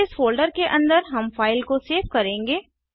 फिर इस फोल्डर के अंदर हम फ़ाइल को सेव करेंगे